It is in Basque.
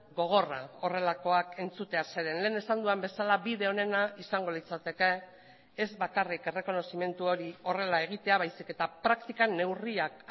gogorra horrelakoak entzutea zeren lehen esan dudan bezala bide onena izango litzateke ez bakarrik errekonozimendu hori horrela egitea baizik eta praktikan neurriak